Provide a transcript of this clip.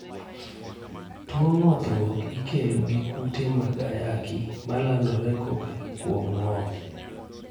Tuo ng'othruok ikelo gi kute mag ayaki ma landore kokalo kuom ng'oth